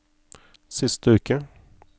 siste uke